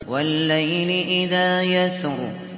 وَاللَّيْلِ إِذَا يَسْرِ